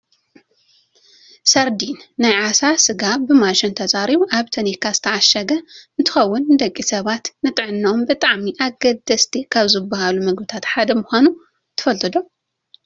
ሰርዲን ናይ ዓሳ ስጋ ብማሽን ተፃሪዩ ኣብ ታኒካ ዝተዓሸገ እንትከውን ንደቂ ሰባት ንጥዕነኦም ብጣዕሚ ኣገደስቲ ካብ ዝባሃሉ ምግብታት ሓደ ምኳኑ ትፈልጡ ዶ ?